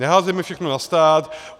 Neházejme všechno na stát.